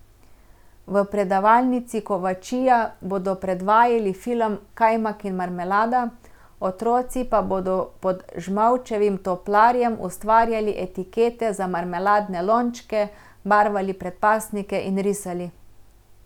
V predavalnici Kovačija bodo predvajali film Kajmak in marmelada, otroci pa bodo pod Žmavčevim toplarjem ustvarjali etikete za marmeladne lončke, barvali predpasnike in risali.